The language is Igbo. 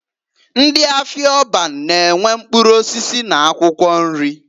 Ndị afịa Orba na -enwe mkpụrụ osisi n'akwụkwọ nri.